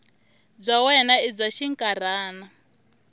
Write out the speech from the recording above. bya wena i bya xinkarhana